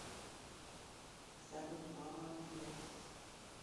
салют мама генезис